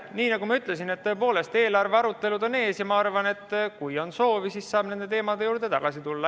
Nii nagu ma ütlesin, eelarvearutelud on ees ja ma arvan, et kui on soovi, siis saab nende teemade juurde tagasi tulla.